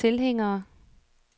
tilhængere